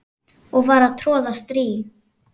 og var að troða strý